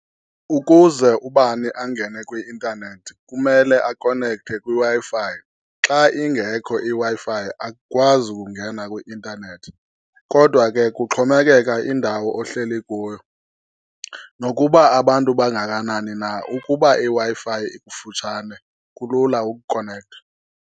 Ukuze ubani angene kwi-intanethi kumele akonekthwe kwiWi-Fi. Xa ingekho iWi-Fi akukwazi kungena kwi-intanethi, kodwa ke kuxhomekeka indawo ohleli kuyo. Nokuba abantu bangakanani na, ukuba iWi-Fi ikufutshane, kulula ukukonektha.